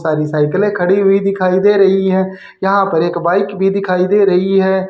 सारी साइकिलें खड़ी हुई दिखाई दे रही हैं यहां पर एक बाइक भी दिखाई दे रही है।